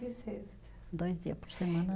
E sexta. Dois dia por semana.